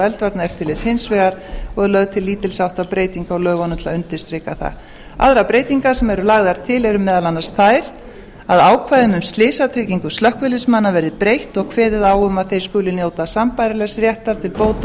eldvarnaeftirlits hins vegar og er lögð til lítils háttar breyting á lögunum til að undirstrika það aðrar breytingar sem eru lagðar til eru meðal annars þær að ákvæðum um slysatryggingu slökkviliðsmanna verði breytt og kveðið á um að þeir skuli njóta sambærilegs réttar til bóta og